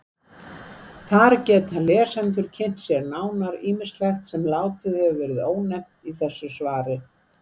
Þar geta lesendur kynnt sér nánar ýmislegt sem látið verður ónefnt í þessu svari.